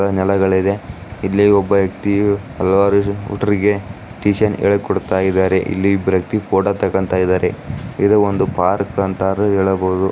ನೆಲಗಳು ಇದೆ ಇಲ್ಲಿ ಒಬ್ಬ ವ್ಯಕ್ತಿಯು ಹಲವಾರು ಹುಡರುಗೆ ಟ್ಯೂಷನ್ ಹೇಳಿಕೊಡುತಾಯಿದರೆ ಇಲ್ಲಿ ಇಬ್ಬರು ವ್ಯಕ್ತಿ ಫೊಟೊ ತಗೋಡಂತಾಯಿದರೆ ಇದು ಒಂದು ಪಾರ್ಕ್ ಅಂತನು ಹೇಳಬಹುದು.